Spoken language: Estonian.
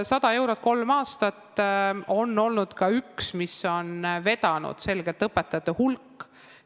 100 eurot kolmel aastal on olnud ka üks asju, mis on selgelt õpetajate arvu vedanud.